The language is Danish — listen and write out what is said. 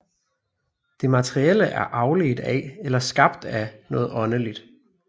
Det materielle er afledt af eller skabt af noget åndeligt